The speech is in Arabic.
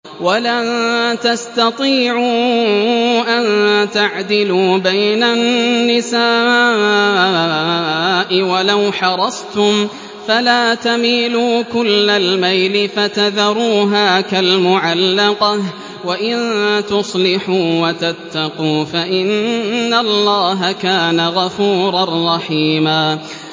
وَلَن تَسْتَطِيعُوا أَن تَعْدِلُوا بَيْنَ النِّسَاءِ وَلَوْ حَرَصْتُمْ ۖ فَلَا تَمِيلُوا كُلَّ الْمَيْلِ فَتَذَرُوهَا كَالْمُعَلَّقَةِ ۚ وَإِن تُصْلِحُوا وَتَتَّقُوا فَإِنَّ اللَّهَ كَانَ غَفُورًا رَّحِيمًا